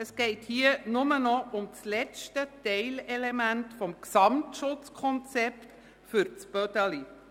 Es geht hier nur noch um das letzte Teilelement des Gesamtschutzkonzepts für das Bödeli.